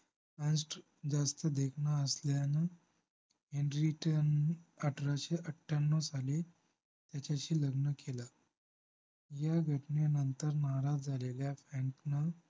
अंष्ट जास्त देखणा असल्यानं हेनरीटन अठराशे अठ्यानो साली त्याच्याशी लग्न केलं या घटनेनंतर नाराज झालेल्या फ्रँकनं